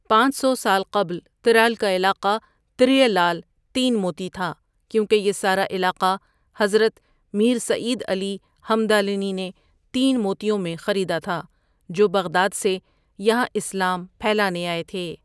پانچ سو سال قبل ترال کا نام ترٕیہ لال تین موتی تھا کیونکہ یہ سارا علاقہ حضرت میر سعید علی ہمدالنیؒ نے تین موتیوں میں خریدا تھا جو بغداد سے یہاں اسلام پھیلانے آے تھے.